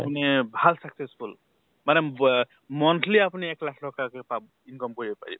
আপুনি ভাল successful মানে বৱে monthly আপুনি এক লাখ ট্কাকে পাব income কৰিব পাৰিব।